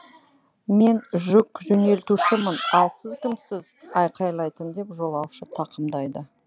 мен жүк жөнелтушімін ал сіз кімсіз айқайлайтын деп жолаушы тақымдайды